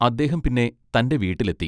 അദ്ദേഹം പിന്നെ തന്റെ വീട്ടിൽ എത്തി.